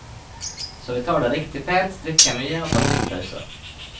Så vi tar det riktig pent, drikker mye og tar ofte pauser.